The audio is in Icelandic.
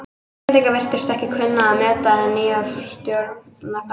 Íslendingar virtust ekki kunna að meta hið nýja stjórnarfar.